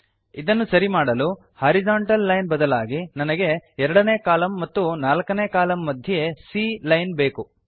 ಇದನ್ನು ಸರಿಮಾಡಲು horizontal line ಬದಲಾಗಿ ನನಗೆ 2ನೇ ಕಾಲಂ ಮತ್ತು 4ನೇ ಕಾಲಂ ಮಧ್ಯೆ c ಲೈನ್ ಬೇಕು